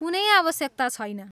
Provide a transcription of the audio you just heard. कुनै आवश्यकता छैन।